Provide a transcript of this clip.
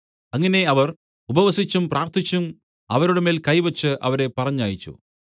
അങ്ങനെ അവർ ഉപവസിച്ചും പ്രാർത്ഥിച്ചും അവരുടെ മേൽ കൈവച്ച് അവരെ പറഞ്ഞയച്ചു